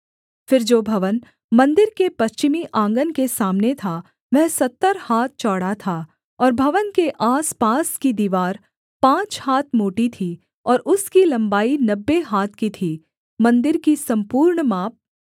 फिर जो भवन मन्दिर के पश्चिमी आँगन के सामने था वह सत्तर हाथ चौड़ा था और भवन के आसपास की दीवार पाँच हाथ मोटी थी और उसकी लम्बाई नब्बे हाथ की थी मन्दिर की सम्पूर्ण माप